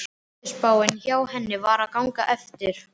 Veðurspáin hjá henni var að ganga eftir.